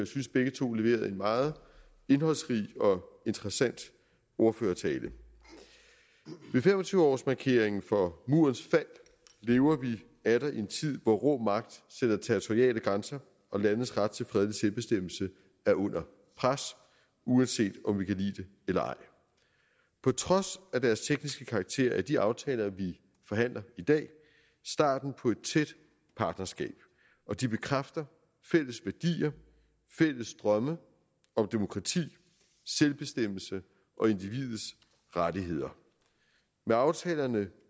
synes begge to leverede en meget indholdsrig og interessant ordførertale ved fem og tyve årsmarkeringen for murens fald lever vi atter i en tid hvor rå magt sætter territoriale grænser og landes ret til fredelig selvbestemmelse er under pres uanset om vi kan lide det eller ej på trods af deres tekniske karakter er de aftaler vi forhandler i dag starten på et tæt partnerskab og de bekræfter fælles værdier og fælles drømme om demokrati selvbestemmelse og individets rettigheder med aftalerne